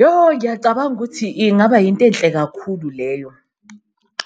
Yoh! Ngiyacabanga ukuthi ingaba yinto enhle kakhulu leyo,